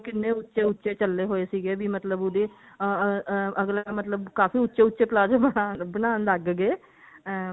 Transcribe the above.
ਕਿੰਨੇ ਉੱਚੇ ਉੱਚੇ ਚੱਲੇ ਹੋਏ ਸੀਗੇ ਵੀ ਮਤਲਬ ਉਹਦੇ ਅਹ ਅਹ ਅੱਗਲਾ ਮਤਲਬ ਕਾਫੀ ਉੱਚੇ ਉੱਚੇ palazzo ਬਣਾਨ ਬਣਾਨ ਲੱਗ ਗਏ ਅਹ